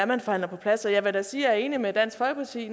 man forhandler på plads jeg vil da sige at jeg er enig med dansk folkeparti